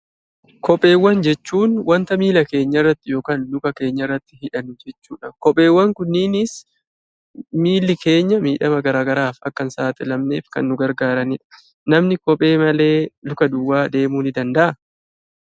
Kopheewwan jechuun; wanta milla keenyaa irraatti ykn Luka keenyaa irraatti hidhannu jechuudha. Kopheewwan kunnins milli keenyaa miidhama garagaraaf akka hn saxilaamnef Kan nu gargaraanidha. Namni kophee malee Luka duwwaa deemuu ni danda'aa?